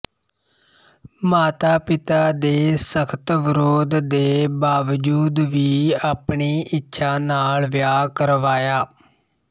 ਮਾਤਾਪਿਤਾ ਦੇ ਸਖ਼ਤ ਵਿਰੋਧ ਦੇ ਬਾਵਜੂਦ ਵੀ ਆਪਣੀ ਇੱਛਾ ਨਾਲ ਵਿਆਹ ਕਰਵਾਇਆ